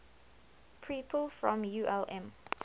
people from ulm